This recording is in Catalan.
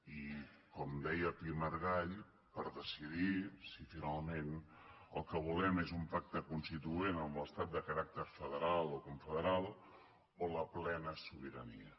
i com deia pi i margall per decidir si finalment el que volem és un pacte constituent amb l’estat de caràcter federal o confederal o la plena sobirania